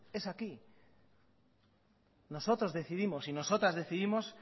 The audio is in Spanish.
es aquí nosotros decidimos y nosotras decidimos